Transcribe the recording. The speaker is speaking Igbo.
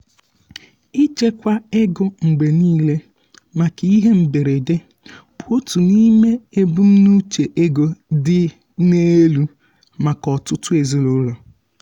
ịchekwa ego mgbe niile maka ihe mberede bụ otu n’ime ebumnuche ego dị n’elu maka ọtụtụ ezinụlọ.